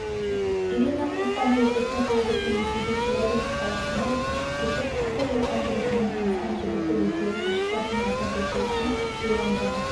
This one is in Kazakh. ирина қостанай облысында туып-өскен ресейдің челябинск қаласына көшіп кетіп сол жатқан жігітімен танысқан жігіті екеуі ғашықтар күнін атап өту үшін шри-ланкаға